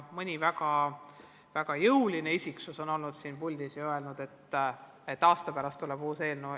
Mõni väga jõuline isiksus on olnud siin puldis ja öelnud, et aasta pärast tuleb uus eelnõu.